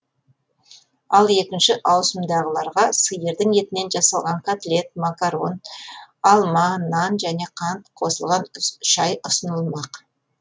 ал екінші ауысымдағыларға сиырдың етінен жасалған котлет макарон алма нан және қант қосылған шай ұсынылмақ